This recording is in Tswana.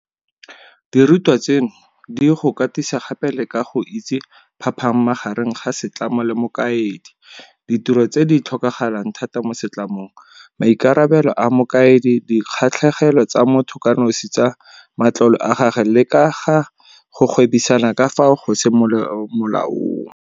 Dirutwa tseno di go katisa gape le ka go itse phapang magareng ga setlamo le mokaedi, ditiro tse di tlhokagalang thata mo setlamong, maikarabelo a mokaedi, di kgatlhegelo tsa motho kanosi tsa matlole a gagwe le ka ga go gwebisana ka fao go seng mo molaong.